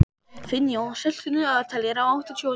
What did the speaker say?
Finnjón, stilltu niðurteljara á áttatíu og níu mínútur.